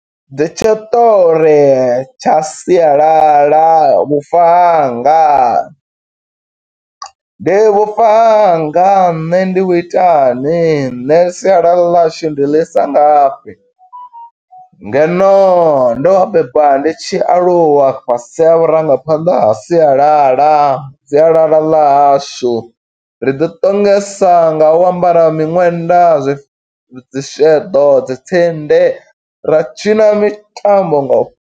Ndi tshiṱori tsha siyalala vhufa hanga. Ndi vhufa hanga nṋe ndi vhu itani, nṋe sialala ḽa hashu ndi ḽi i sa nga fhi, ngeno ndo bebiwa ndi tshi aluwa fhasi ha vhurangaphanḓa, ha sialala. Sialala ḽa hashu, ri ḓi ṱongisa nga u ambara miṅwenda, zwi dzi sheḓo, dzi tsindi ra tshina mitambo nga u.